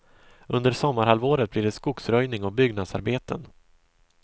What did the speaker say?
Under sommarhalvåret blir det skogsröjning och byggnadsarbeten.